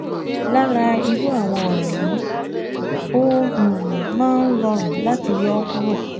Lára irú àwọn ọ̀ràn yìí, ó um máa ń rọrùn láti yọ̀ ọ́ kúrò